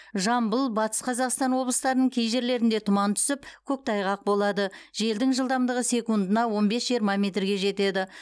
жамбыл батыс қазақстан облыстарының кей жерлерінде тұман түсіп көктайғақ болады желдің жылдамдығы секундына он бес жиырма метрге жетеді